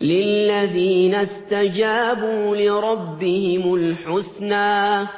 لِلَّذِينَ اسْتَجَابُوا لِرَبِّهِمُ الْحُسْنَىٰ ۚ